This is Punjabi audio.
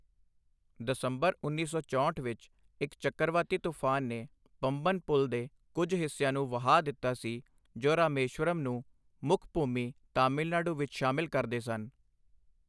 ਦਸੰਬਰ 1964 ਵਿੱਚ ਇੱਕ ਚੱਕਰਵਾਤੀ ਤੂਫਾਨ ਨੇ ਪੰਬਨ ਪੁਲ ਦੇ ਕੁੱਝ ਹਿੱਸਿਆਂ ਨੂੰ ਵਹਾ ਦਿੱਤਾ ਸੀ ਜੋ ਰਾਮੇਸ਼ਵਰਮ ਨੂੰ ਮੁੱਖ ਭੂਮੀ ਤਾਮਿਲਨਾਡੂ ਵਿਚ ਸ਼ਾਮਿਲ ਕਰਦੇ ਸਨ।